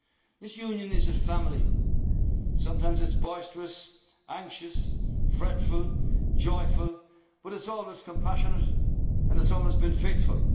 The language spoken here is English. some distant pavilion. This union is a family, sometimes it is boisterous, anxious, fretful, joyful but it is always compassionate and it has